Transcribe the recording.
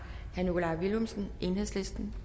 herre nikolaj villumsen enhedslisten